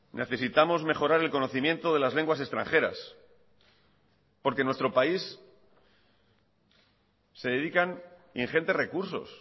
necesitamos mejorar el conocimiento de las lenguas extranjeras porque en nuestro país se dedican ingentes recursos